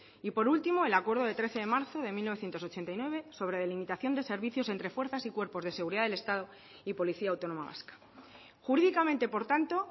y por último el acuerdo de trece de marzo de mil novecientos ochenta y nueve sobre delimitación de servicios entre fuerzas y cuerpos de seguridad del estado y policía autónoma vasca jurídicamente por tanto